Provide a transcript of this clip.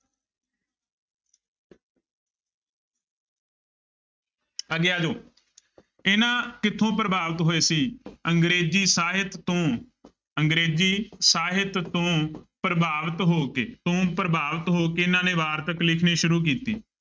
ਅੱਗੇ ਆ ਜਾਓ ਇਹ ਨਾ ਕਿੱਥੋਂ ਪ੍ਰਭਾਵਿਤ ਹੋਏ ਸੀ ਅੰਗਰੇਜ਼ੀ ਸਾਹਿਤ ਤੋਂ ਅੰਗਰੇਜ਼ੀ ਸਾਹਿਤ ਤੋਂ ਪ੍ਰਭਾਵਿਤ ਹੋ ਕੇ, ਤੋਂ ਪ੍ਰਭਾਵਤਿ ਹੋ ਕੇ ਇਹਨਾਂ ਨੇ ਵਾਰਤਕ ਲਿਖਣੀ ਸ਼ੁਰੂ ਕੀਤੀ।